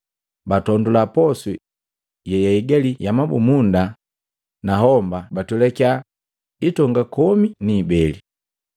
Batondula posu yeyaigali ya mabumunda na homba batwelakiya hiitonga komi ni ibele.